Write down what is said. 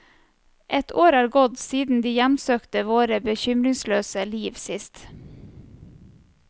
Et år er gått siden de hjemsøkte våre bekymringsløse liv sist.